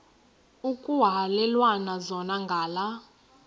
ekuhhalelwana zona ngala